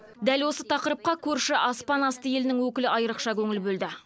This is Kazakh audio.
дәл осы тақырыпқа көрші аспан асты елінің өкілі айрықша көңіл бөлді